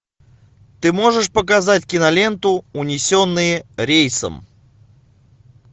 ты можешь показать киноленту унесенные рейсом